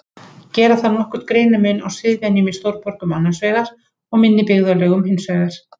Gera þarf nokkurn greinarmun á siðvenjum í stórborgum annars vegar og minni byggðarlögum hins vegar.